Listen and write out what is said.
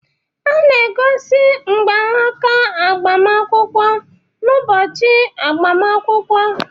A na-egosi mgbanaka agbamakwụkwọ n'ụbọchị agbamakwụkwọ